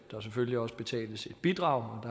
selvfølgelig også betale et bidrag